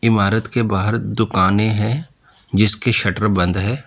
इमारत के बाहर दुकानें है जिसकी शटर बंद है।